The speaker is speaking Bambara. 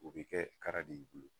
O be kɛ kara de y'i bolo